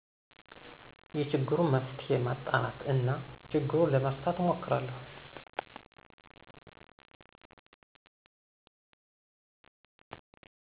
የችግሩን መንስዔ ማጣራት እና ችግሩን ለመፍታት እሞክራለሁ